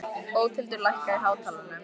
Bóthildur, lækkaðu í hátalaranum.